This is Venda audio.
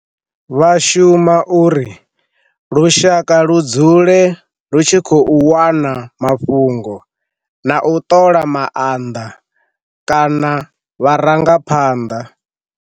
Vha shuma uri lushaka lu dzule lu tshi khou wana mafhungo na u ṱola maanḓa kana vharangaphanḓa.